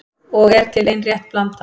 Og er til ein rétt blanda